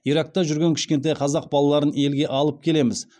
иракта жүрген кішкентай қазақ балаларын елге алып келеміз